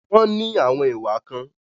Wọ́n ní àwọn ìwà kan.